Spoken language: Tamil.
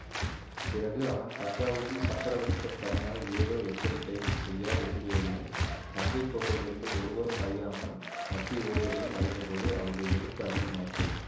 பிறகு அவன் தஞ்சாவூரில் சக்கரவர்த்தியிடம் தனியாக ஏதோ எச்சரிக்கை செய்ய விரும்பியதையும் தஞ்சை கோட்டையிலிருந்து ஒருவரும் அறியாமல் தப்பி ஓடியதையும் அறிந்தபோது அவருடைய வெறுப்பு அதிகமாயிற்று